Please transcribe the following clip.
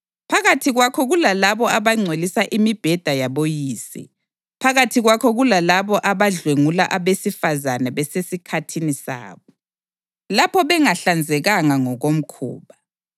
Phakathi kwakho kulalabo abangcolisa imibheda yaboyise; phakathi kwakho kulalabo abadlwengula abesifazane besesikhathini sabo, lapho bengahlanzekanga ngokomkhuba.